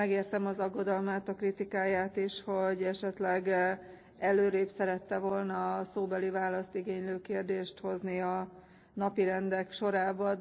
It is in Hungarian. Megértem az aggodalmát, a kritikáját is, hogy esetleg előrébb szerette volna a szóbeli választ igénylő kérdést hozni a napirendi pontok sorában.